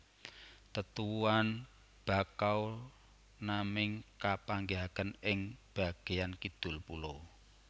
Tetuwuhan Bakau naming kapanggihaken ing bageyan kidul pulo